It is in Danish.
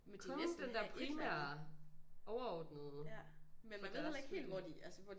Kun den der primære overordnede for deres studie